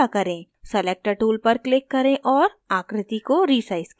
selector tool पर click करें और आकृति को resize करें